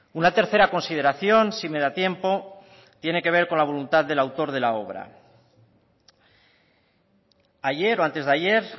una tercera consideración si me da tiempo tiene que ver con la voluntad del autor de la obra ayer o antes de ayer